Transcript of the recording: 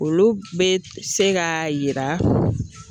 Olu bɛ se k'a yira.